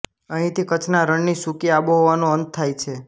અહીંથી કચ્છના રણની સૂકી આબોહવાનો અંત થાય છે